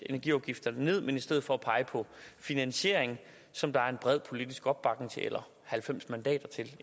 energiafgifterne ned men i stedet for pege på finansiering som der er en bred politisk opbakning til eller